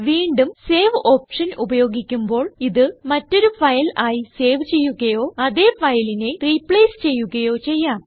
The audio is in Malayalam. വീണ്ടും സേവ് ഓപ്ഷൻ ഉപയോഗിക്കുമ്പോൾ ഇത് മറ്റൊരു ഫയൽ ആയി സേവ് ചെയ്യുകയോ അതേ ഫയലിനെ റിപ്ലേസ് ചെയ്യുകയോ ചെയ്യാം